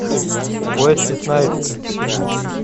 уэсли снайпс